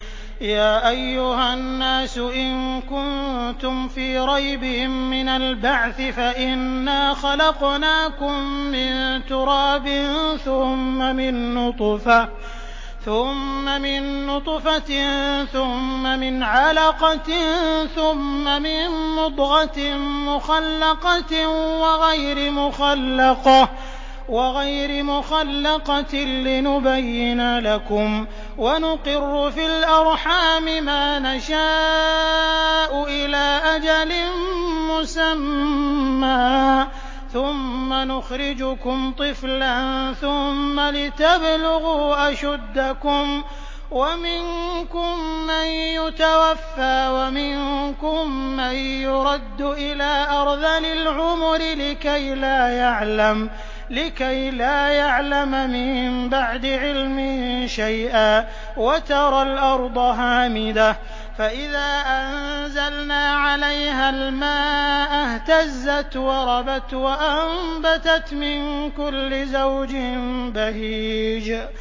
يَا أَيُّهَا النَّاسُ إِن كُنتُمْ فِي رَيْبٍ مِّنَ الْبَعْثِ فَإِنَّا خَلَقْنَاكُم مِّن تُرَابٍ ثُمَّ مِن نُّطْفَةٍ ثُمَّ مِنْ عَلَقَةٍ ثُمَّ مِن مُّضْغَةٍ مُّخَلَّقَةٍ وَغَيْرِ مُخَلَّقَةٍ لِّنُبَيِّنَ لَكُمْ ۚ وَنُقِرُّ فِي الْأَرْحَامِ مَا نَشَاءُ إِلَىٰ أَجَلٍ مُّسَمًّى ثُمَّ نُخْرِجُكُمْ طِفْلًا ثُمَّ لِتَبْلُغُوا أَشُدَّكُمْ ۖ وَمِنكُم مَّن يُتَوَفَّىٰ وَمِنكُم مَّن يُرَدُّ إِلَىٰ أَرْذَلِ الْعُمُرِ لِكَيْلَا يَعْلَمَ مِن بَعْدِ عِلْمٍ شَيْئًا ۚ وَتَرَى الْأَرْضَ هَامِدَةً فَإِذَا أَنزَلْنَا عَلَيْهَا الْمَاءَ اهْتَزَّتْ وَرَبَتْ وَأَنبَتَتْ مِن كُلِّ زَوْجٍ بَهِيجٍ